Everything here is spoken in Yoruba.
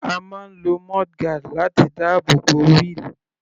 A máa ń lo mudguard láti dáàbò bo wheel.